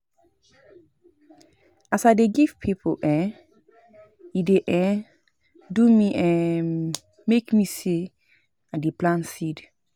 As I dey give pipo, um e dey um do um me like sey I dey plant seed.